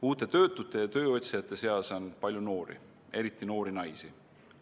Uute töötute ja tööotsijate seas on palju noori, eriti noori naisi.